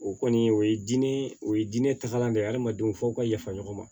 O kɔni o ye diinɛ o ye diinɛ tagalan de ye adamadenw fo aw ka yafa ɲɔgɔn ma